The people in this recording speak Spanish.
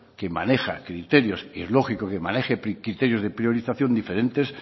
que maneja criterios y es lógico que maneje criterios de priorización diferentes